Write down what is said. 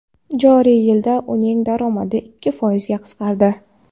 Joriy yilda uning daromadi ikki foizga qisqardi.